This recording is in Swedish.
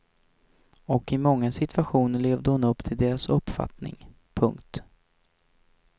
Och i många situationer levde hon upp till deras uppfattning. punkt